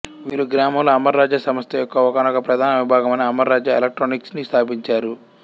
వీరు గ్రామంలో అమరరాజా సంస్థ యొక్క ఒకానొక ప్రధాన విభాగమైన అమరరాజా ఎలెక్ట్రానిక్స్ ని స్థాపించారు